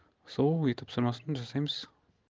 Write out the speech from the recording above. сол үй тапсырмасын жасаймыз